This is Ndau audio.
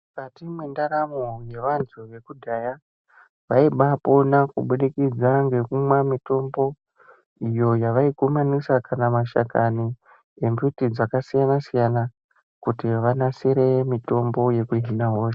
Mukati mwendaramo yevantu vekudhaya, vaibaapona kubudikidza ngekumwa mitombo, iyo yevaikumanisa kana mashakani embuti dzakasiyana-siyana, kuti vanasire mutombo yekuhina hosha.